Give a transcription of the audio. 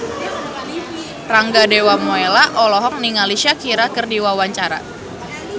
Rangga Dewamoela olohok ningali Shakira keur diwawancara